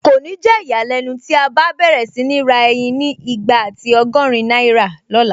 Kò ní jẹ́ ìyàlẹ́nu tí a bá n bẹ̀rẹ̀ sí ní ra ẹyin ni igba àti ọgọ́rin náírà lọ̀la